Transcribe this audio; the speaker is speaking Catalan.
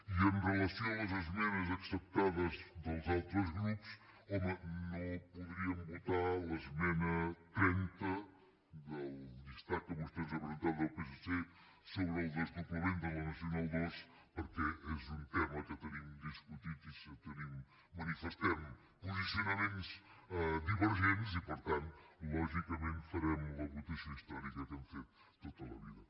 i amb relació a les esmenes acceptades dels altres grups home no podríem votar l’esmena trenta del llistat que vostè ens ha presentat del psc sobre el desdoblament de la nacional ii perquè és un tema que tenim discutit i tenim manifestem posicionaments divergents i per tant lògicament farem la votació històrica que hem fet tota la vida